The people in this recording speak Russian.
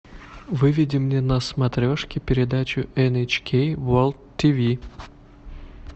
выведи мне на смотрешке передачу эн эйч кей ворлд ти ви